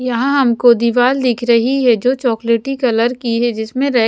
यहाँ हमको दीवाल दिख रही है जो चॉकलेटी कलर की है जिसमें रै --